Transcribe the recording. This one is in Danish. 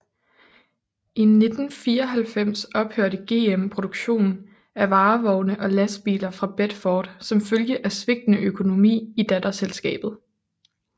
I 1994 ophørte GM produktion af varevogne og lastbiler fra Bedford som følge af svigtende økonomi i datterselskabet